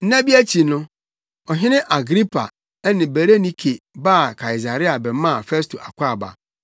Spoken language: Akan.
Nna bi akyi no, Ɔhene Agripa ne Berenike baa Kaesarea bɛmaa Festo akwaaba.